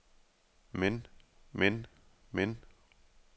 men men men